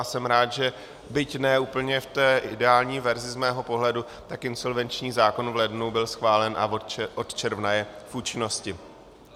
A jsem rád, že byť ne úplně v té ideální verzi z mého pohledu, tak insolvenční zákon v lednu byl schválen a od června je v účinnosti.